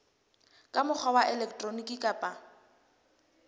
ka mokgwa wa elektroniki kapa